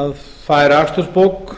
að færa akstursbók